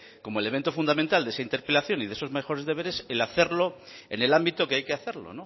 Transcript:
como elemento fundamental de esa interpelación y de esos mejores deberes el hacerlo en el ámbito que hay que hacerlo